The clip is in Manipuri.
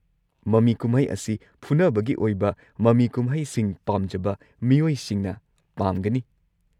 ꯃꯃꯤ ꯀꯨꯝꯍꯩ ꯑꯁꯤ ꯐꯨꯅꯕꯒꯤ ꯑꯣꯏꯕ ꯃꯃꯤ ꯀꯨꯝꯍꯩꯁꯤꯡ ꯄꯥꯝꯖꯕ ꯃꯤꯑꯣꯏꯁꯤꯡꯅ ꯄꯥꯝꯒꯅꯤ꯫